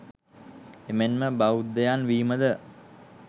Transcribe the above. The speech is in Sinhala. එමෙන්ම බෞද්දයන් වීමද